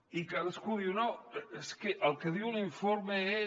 i cadascú diu no és que el que diu l’informe és